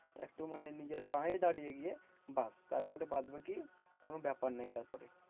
একটু মানে নিজের পায়ে দাঁড়িয়ে গিয়ে। ব্যাস তারপরে বাদবাকি কোনো ব্যাপার নেই তারপরে।